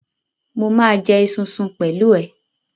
Mo ma jẹ esunsun pẹ̀lú ẹ.